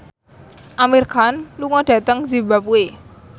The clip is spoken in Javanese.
Amir Khan lunga dhateng zimbabwe